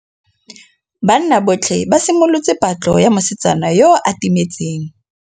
Banna botlhê ba simolotse patlô ya mosetsana yo o timetseng.